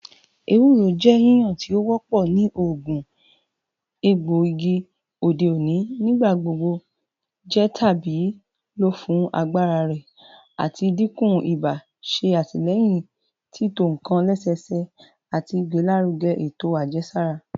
Ewuro jẹ yiyan ti o wọpọ ni oogun egboigi ode oni, nigbagbogbo jẹ tabi lo fun agbara rẹ lati dinku iba, ṣe atilẹyin tito nkan lẹsẹsẹ, ati igbelaruge eto ajẹsara